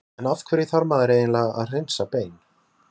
en af hverju þarf maður eiginlega að hreinsa bein